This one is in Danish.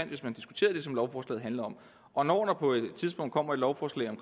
hvis man diskuterede det som lovforslaget handler om og når der på et tidspunkt kommer et lovforslag om